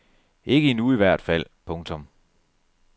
Ikke endnu i hvert fald. punktum